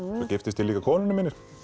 giftist ég líka konunni minni